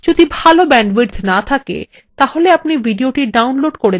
যদি ভাল bandwidth না থাকে তাহলে আপনি ভিডিওটি download করে দেখতে পারেন